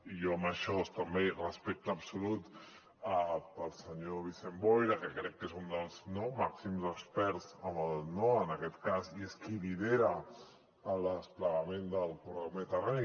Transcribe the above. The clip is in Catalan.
i jo amb això també respecte absolut pel senyor vicent boira que crec que és un dels màxims experts en aquest cas i és qui lidera el desplegament del corredor mediterrani